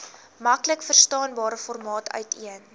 maklikverstaanbare formaat uiteen